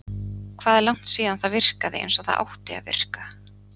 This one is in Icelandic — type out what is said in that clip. Hvað er langt síðan það virkaði eins og það átti að virka?